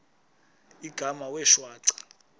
igama wee shwaca